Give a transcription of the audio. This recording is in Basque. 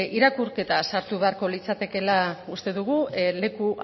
irakurketa sartu beharko litzatekeela uste dugu leku